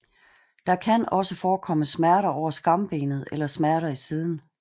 Der kan også forekomme smerter over skambenet eller smerter i siden